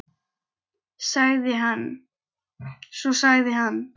Svo sagði hann